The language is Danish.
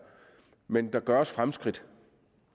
men der gøres fremskridt